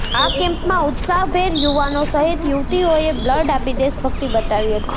આ કેમ્પમાં ઉત્સાહભેર યુવાનો સહીત યુવતીઓએ બ્લડ આપી દેશભક્તિ બતાવી હતી